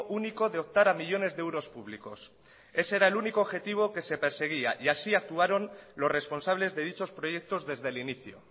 único de optar a millónes de euros públicos ese era el único objetivo que se perseguía y así actuaron los responsables de dichos proyectos desde el inicio